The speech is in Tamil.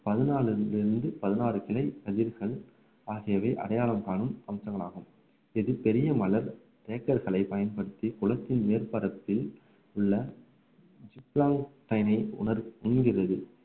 பதினாலுல இருந்து பதினாறு கிளை ஆகியவை அடையாளம் காணும் அம்சங்களாகும் இது பெரிய மலர் தேக்கர்களை பயன்படுத்தி குளத்தின் மேற்பரத்தில் உள்ள உணர்~ உண்கிறது